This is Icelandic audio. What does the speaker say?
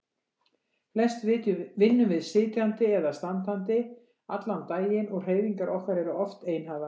Flest vinnum við sitjandi eða standandi allan daginn og hreyfingar okkar eru oft einhæfar.